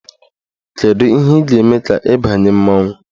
Kedu ihe ị ga-eme ka ị banye mmanwụ?